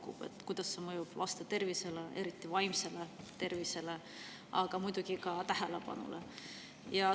Tuleks uurida, kuidas see mõjub laste tervisele, eriti vaimsele tervisele, aga muidugi ka tähelepanu.